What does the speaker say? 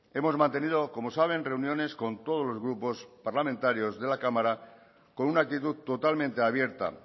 hemos mantenido como saben reuniones con todos los grupos parlamentarios de la cámara con una actitud totalmente abierta